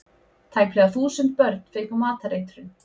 Tæplega þúsund börn fengu matareitrun